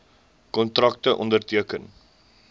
kontrakte onderteken